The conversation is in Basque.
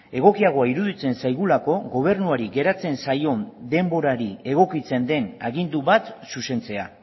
egokiagoa iruditzen zaigulako gobernuari geratzen zaion denborari egokitzen den agindu bat zuzentzea